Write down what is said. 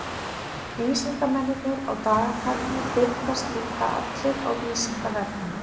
Vísindamennirnir á dagatalinu birtast líka allir á Vísindavefnum.